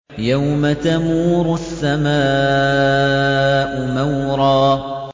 يَوْمَ تَمُورُ السَّمَاءُ مَوْرًا